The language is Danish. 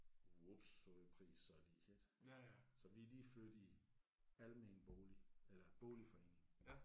Vups sagde prisen så lige ik. Så vi er lige flyttet i almen bolig eller boligforening